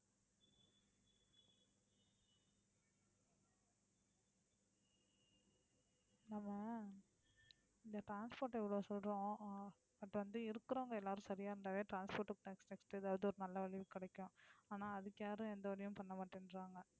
நம்ம இந்த transport இவ்வளவு சொல்றோம். ஆஹ் but வந்து, இருக்குறவங்க எல்லாரும் சரியா இருந்தாலே transport க்கு ஏதாவது ஒரு நல்ல வழி கிடைக்கும் ஆனால் அதுக்கு யாரும் எந்த வழியும் பண்ண மாட்டேன்றாங்க